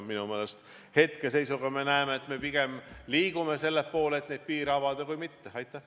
Minu meelest hetkeseisuga me näeme, et me pigem liigume selle poole, et neid piire avada, mitte vastupidi.